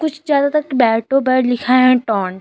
ज्यादातर कि बैटों पर लिखा है टोन ।